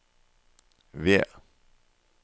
V